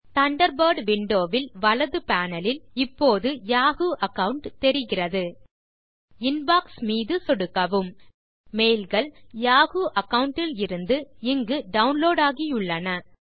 Thunderbird window இல் வலது panel லில் இப்போது யாஹூ அகாவுண்ட் தெரிகிறது இன்பாக்ஸ் மீது சொடுக்கவும் மெயில் கள் யாஹூ அகாவுண்ட் இலிருந்து இங்கு டவுன்லோட் ஆகியுள்ளன